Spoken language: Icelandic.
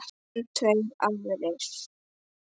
En tveir aðrir